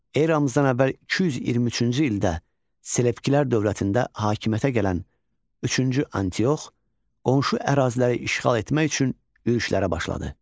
Eramızdan əvvəl 223-cü ildə Selevkilər dövlətində hakimiyyətə gələn üçüncü Antiox qonşu əraziləri işğal etmək üçün yürüşlərə başladı.